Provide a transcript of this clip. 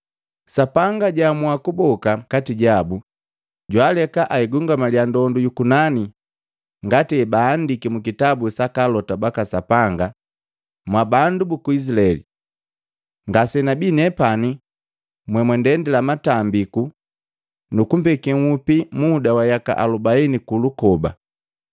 Sapanga jaamua kuboka kati jabu, jwaaleka agungamaliya ndondu yu kunani, ngati hebaandiki mukitabu saka Alota baka Sapanga, ‘Mwabandu buku Izilaeli! Ngasenabii nepani jomuntendila matambiku nukumpekee nhupi muda wa yaka alubaini kulukoba.